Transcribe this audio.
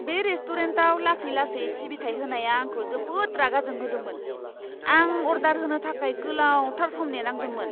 बे रेस्टुरेन्टाव लासै लासै सिबिथाइ होनाया आंखौ जोबोद रागा जोंहोदोंमोन। आं अर्डार होनो थाखाय गोलावथार सम नेनांदोंमोन!